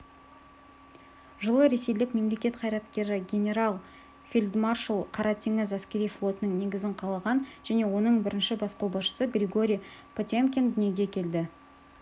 жылы ресейлік мемлекет қайраткері генерал-фельдмаршал қара теңіз әскери флотының негізін қалаған және оның бірінші бас қолбасшысы григорий потемкин дүниеге келді